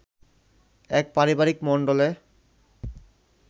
এক পারিবারিক মণ্ডলে